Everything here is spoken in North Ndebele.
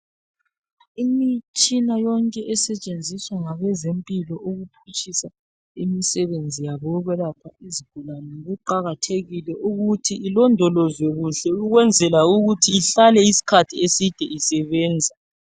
Imitshina yonke esetshenziswa ngabezempilo ukuphutshisa imisebenzi yabo yokwelapha izigulane kuqakathekile ukuthi ilondolozwe kuhle ukwenzela ukuthi ihlale isikhathi eside isebenza.